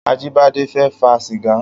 Ajibade fè fà sigá